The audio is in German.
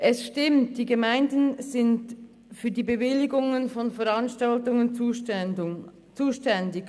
Es stimmt, dass die Gemeinden für die Bewilligungen von Veranstaltungen zuständig sind.